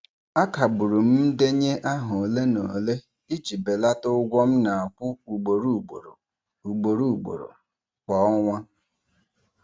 A kagbụrụ m ndenye aha ole na ole iji belata ụgwọ m na-akwụ ugboro ugboro ugboro ugboro kwa ọnwa.